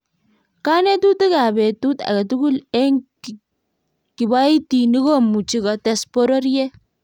konetutik ab betut age tugul eng' kiboitinik komuchi kotes borotet